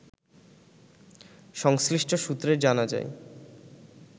সংশ্লিষ্ট সূত্রে জানা যায়